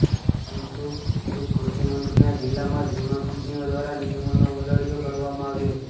પરંતુ ખુદ કૃષિમંત્રીના જિલ્લામાં જ વીમા કંપનીઓ દ્વારા નિયમોનો ઉલાળ્યો કરવામાં આવ્યો છે